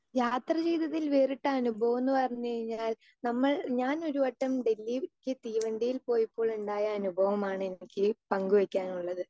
speaker 2 യാത്ര ചെയ്തതിൽ വേറിട്ട അനുഭവൊന്ന് പറഞ്ഞു കഴിഞ്ഞാൽ നമ്മൾ ഞാൻ ഒരുവട്ടം ഡൽഹിയിൽ ഡൽഹിക്ക് തീവണ്ടിയിൽ പോയപ്പോൾ ഉണ്ടായ അനുഭവമാണ് എനിക്ക് പങ്കുവെക്കാനുള്ളത്